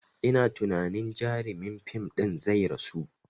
Ina tunani jarumin fim ɗin zai rasu